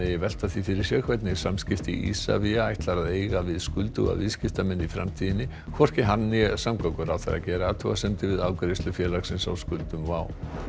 velta því fyrir sér hvernig samskipti Isavia ætlar að eiga við skulduga viðskiptamenn í framtíðinni hvorki hann né samgönguráðherra gera athugasemdir við afgreiðslu félagsins á skuldum WOW